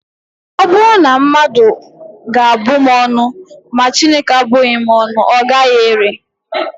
Ọ bụrụ na mmadụ ga-abụ m ọnụ, ma Chineke abụghị m ọnụ, ọ gaghị ere